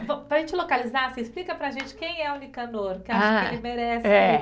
Para a gente localizar, você explica para a gente quem é o Nicanor, que acho que ele merece. É